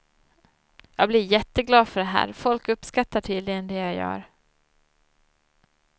Jag blir jätteglad för det här, folk uppskattar tydligen det jag gör.